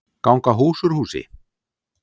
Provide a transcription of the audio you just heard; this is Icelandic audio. Ganga hús úr húsi